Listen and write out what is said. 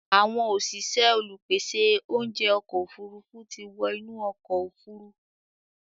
Àwọn òṣìṣẹ́ olùpèsè oúnjẹ ọkọ̀ òfurufú ti wọ́ inú ọkọ̀ òfuru